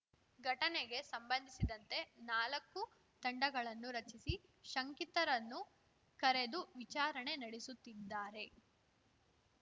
ಘಟನೆಗೆ ಸಂಬಂಧಿಸಿದಂತೆ ನಾಲಕ್ಕು ತಂಡಗಳನ್ನು ರಚಿಸಿ ಶಂಕಿತರನ್ನು ಕರೆದು ವಿಚಾರಣೆ ನಡೆಸುತ್ತಿದ್ದಾರೆ